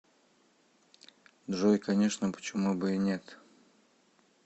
джой конечно почему бы и нет